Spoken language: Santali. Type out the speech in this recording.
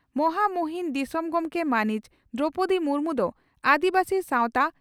ᱢᱚᱦᱟᱢᱩᱦᱤᱱ ᱫᱤᱥᱚᱢ ᱜᱚᱢᱠᱮ ᱢᱟᱹᱱᱤᱡ ᱫᱨᱚᱣᱯᱚᱫᱤ ᱢᱩᱨᱢᱩ ᱫᱚ ᱟᱹᱫᱤᱵᱟᱹᱥᱤ ᱥᱟᱣᱛᱟ